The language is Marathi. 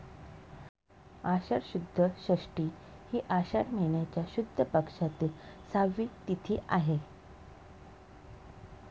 आषाढ शुद्ध षष्ठी ही आषाढ महिन्याच्या शुद्ध पक्षातील सहावी तिथी आहे.